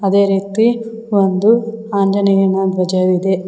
ಅದೇ ರೀತಿ ಒಂದು ಆಂಜನೇಯನ ಧ್ವಜವಿದೆ.